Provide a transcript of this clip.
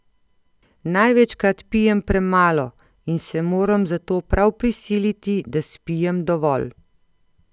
Največkrat pijem premalo in se moram zato prav prisiliti, da spijem dovolj.